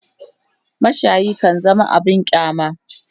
mashayi kan zama abun kyama